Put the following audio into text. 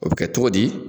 O bɛ kɛ cogo di